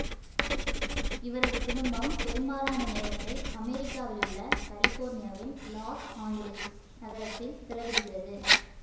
இவரது குடும்பம் பெரும்பாலான நேரத்தை அமெரிக்காவிலுள்ள கலிபோர்னியாவில் லாஸ் ஆஞ்சலிஸ் நகரத்தில் செலவிடுகிறது